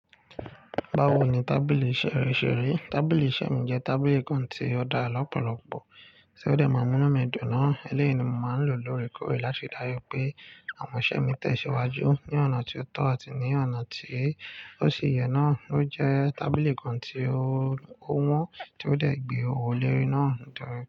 Báwo ni tábìlì iṣẹ́ rẹ ṣe rí? Tábìlì iṣẹ́ mi jẹ́ tábìlì kan tí ó dára lọ́pọ̀lọpọ̀ tí ó dẹ̀ ma múnú mi dùn ná, elẹ́yì ni mo ma ń lò lórekọ́rẹ láti dájú pé àwọn iṣẹ́ mi tẹ ìsẹ́wájú ní ọ̀nà tí ó tọ́ àti ní ọ̀nà tí ó ṣe iyẹ́ náá. Ó jẹ́ tábìlì kan tí ó wọ́n tí ó dẹ̀ gbé owó lórí náà nítorí.